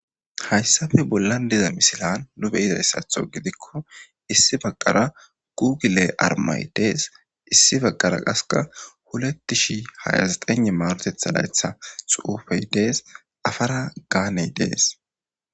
Hayssape bollan diza misilan nu beyidayssatho gidikko issi baqara gugile armay dees issi baqara qaseka hulettishi hayazxene maarotetha laytha xuufey dees afara gaaney dees.